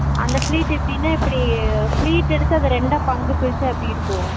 அந்த fleat எப்படினா இப்பிடி fleat எடுத்து அப்பறம் ரெண்டா பங்கு எடுத்தா எப்பிடி இருக்கும்